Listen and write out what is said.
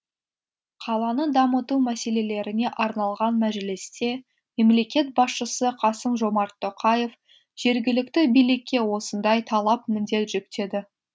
қаланы дамыту мәселелеріне арналған мәжілісте мемлекет басшысы қасым жомарт тоқаев жергілікті билікке осындай талап міндет жүктеді